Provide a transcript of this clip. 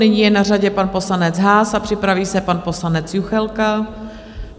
Nyní je na řadě pan poslanec Haas a připraví se pan poslanec Juchelka.